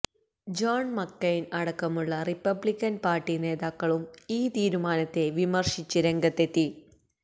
John McCain അടക്കമുള്ള Republican party നേതാക്കളും ഈ തീരുമാനത്തെ വിമര്ശിച്ച് രംഗത്തെത്തി